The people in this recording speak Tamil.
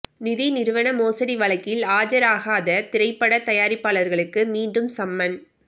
நிதி நிறுவன மோசடி வழக்கில் ஆஜராகாத திரைப்படத் தயாரிப்பாளருக்கு மீண்டும் சம்மன்